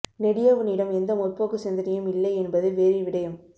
நெடியவனிடம் எந்த முற்போக்கு சிந்தனையும் இல்லை என்பது வேறு விடயம்